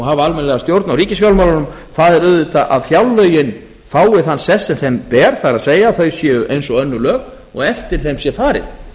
hafa almennilega stjórn á ríkisfjármálunum það er auðvitað að fjárlögin fái þann sess sem þeim ber það er að þau séu eins og önnur lög og eftir þeim sé farið